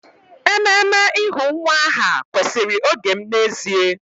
Ememe ịhu nwa aha kwesịrị oge m n'ezie